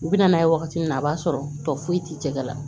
U bɛ na n'a ye wagati min na o b'a sɔrɔ tɔ foyi t'i tɛgɛ la